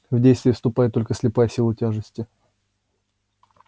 в действие вступает только слепая сила тяжести